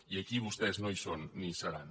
i aquí vostès no hi són ni hi seran